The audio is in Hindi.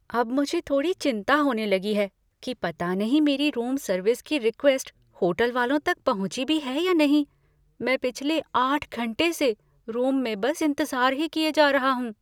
अब मुझे थोड़ी चिंता होने लगी है कि पता नहीं मेरी रूम सर्विस की रिक्वेस्ट होटल वालों तक पहुँची भी है या नहीं। मैं पिछले आठ घंटे से रूम में बस इंतज़ार ही किए जा रहा हूँ...